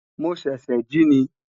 mo sese ji ni